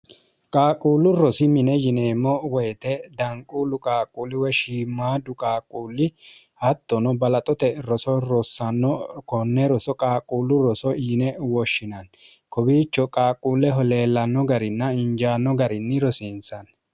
qaaqquullu rosi mine yineemmo woyite daanquullu qaaqquulliwe shiimmaadu qaaquulli hattono balaxote roso rossanno konne roso qaaqquullu roso yine woshshinanni kobiicho qaaqquulleho leellanno garinna injaanno garinni rosiinsanni